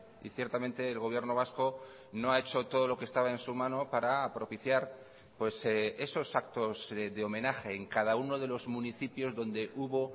y ciertamente el gobierno vasco no ha hecho todo lo que estaba en su mano para propiciar esos actos de homenaje en cada uno de los municipios donde hubo